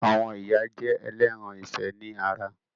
Àwọn ìyá jẹ́ ẹlẹ́ran ìfẹ́ ni ara